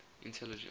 intelligence